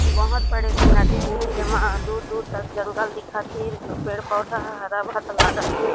बहोत बड़ी एक नदी हे जेमा दूर-दूर तक जंगल दिखत हे जो पेड़-पौधा ह हरा-भरा लागत हे।